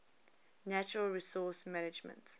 natural resource management